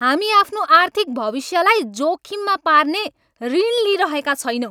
हामी आफ्नो आर्थिक भविष्यलाई जोखिममा पार्ने ऋण लिइरहेका छैनौँ!